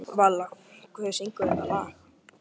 Vala, hver syngur þetta lag?